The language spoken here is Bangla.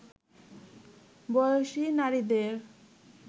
বয়সী নারীদের